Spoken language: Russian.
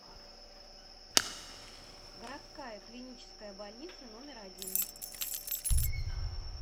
городская клиническая больница номер один